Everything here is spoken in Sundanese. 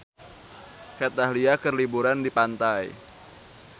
Kat Dahlia keur liburan di pantai